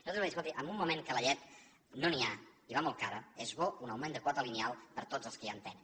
nosaltres vam dir escolti en un moment que de llet no n’hi ha i va molt cara és bo un augment de quota lineal per a tots els que ja en tenen